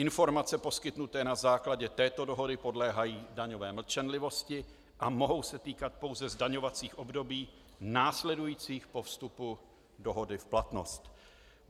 Informace poskytnuté na základě této dohody podléhají daňové mlčenlivosti a mohou se týkat pouze zdaňovacích období následujících po vstupu dohody v platnost.